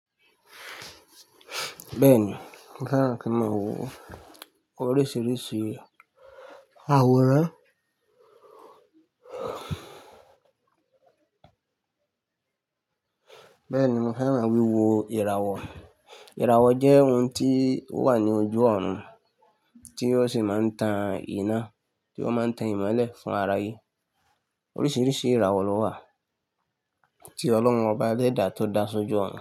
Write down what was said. Bẹ́ẹ̀ni, mo fẹ́ran kí n ma wo oríṣiríṣi àwòrán. Bẹ́ẹ̀ni, mo fẹ́ran wíwo ìràwọ̀. Ìràwọ̀ jẹ́ ohun tí ó wà ní ojú ọ̀run, tí ó sì máa ń tan iná, tí ó máa ń tan ìmọ́lẹ̀ fún ara ayé. Oríṣiríṣi ìràwọ̀ ló wà tí ọlọ́run ọba eledá tó dá s'ojú ọ̀run.